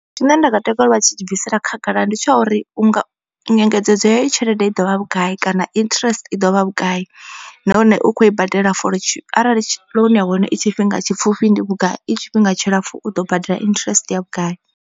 Tshine nda nga takalela vha tshi tshi bvisela khagala ndi tsha uri unga nyengedzedzo ya tshelede i ḓovha vhugai kana interest i ḓovha vhugai. Nahone u kho i badela for arali loan ya hone i tshifhinga tshipfhufhi ndi vhugai i tshifhinga tshilapfu u ḓo badela interest ya vhugai.